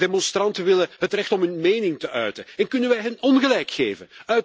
De demonstranten willen het recht om hun mening te uiten en kunnen we hen ongelijk geven?